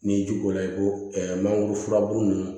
N'i ji k'o la i ko mangoro furabulu ninnu